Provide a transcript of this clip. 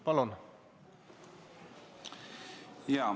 Palun!